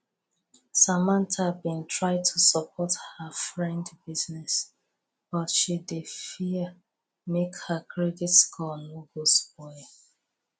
samantha been try support her friend business but she dey fear make her credit score no go spoil